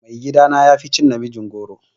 Mai gida na yafi cin namijin goro.